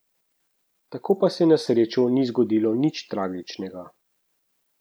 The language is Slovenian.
Tako pa se na srečo ni zgodilo nič tragičnega.